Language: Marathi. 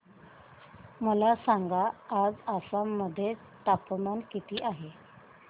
मला सांगा आज आसाम मध्ये तापमान किती आहे